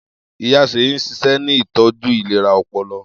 Iya Seyi n ṣiṣẹ ni itọju ilera ọpọlọ.